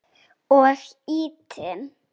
Og ýtinn.